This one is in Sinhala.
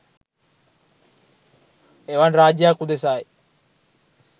එවන් රාජ්‍යයක් උදෙසායි